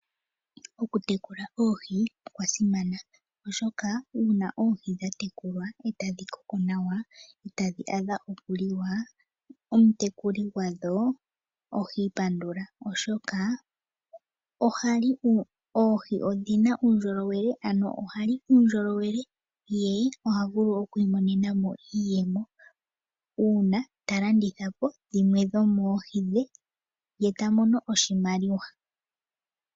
Okutekula oohi osha simana oshoka uuna oohi dha tekulwa e tadhi koko nawa, e tadhi a dha okuliwa, omutekuli gwadho ohiipandula oshoka oohi odhina uundjolowele ano ohali uundjolowele, ye oha vulu okwiimonena mo iiyemo uuna ta landitha po shimwe dhomoohi she ye ta mono oshimaliwa.